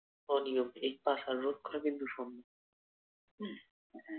অনিয়ম এই পাশার রক্ষা কিন্তু সম্ভব উম